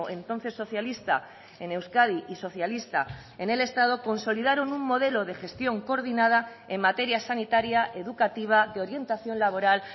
entonces socialista en euskadi y socialista en el estado consolidaron un modelo de gestión coordinada en materias sanitaria educativa de orientación laboral